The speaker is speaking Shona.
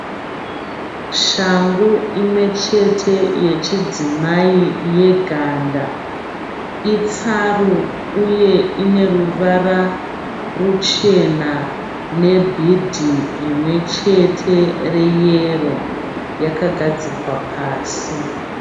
Shangu imwe chete yechidzimai yeganda. Itsaru uye ine ruvara ruchena nebhidhi rimwe chete reyero. Yakagadzikwa pasi.